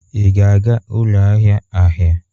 Ị ga-aga ụlọ ahịa ahịa?